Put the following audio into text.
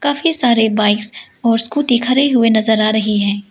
काफी सारे बाईक्स और स्कूटी खरे हुए नजर आ रहे हैं।